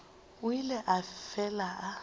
o ile a fela a